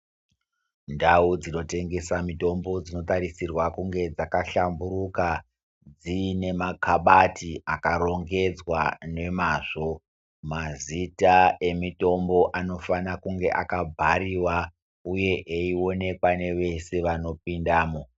Ndau dzinotengesa mitombo dzinotarisirwa kunge dzakahlamburuka dziine makabati akarongedzwa nemazvo. Mazita emutombo anofana kunga akabhariwa, uye eionekwa nevese vanopinda mwo.